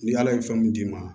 Ni ala ye fɛn mun d'i ma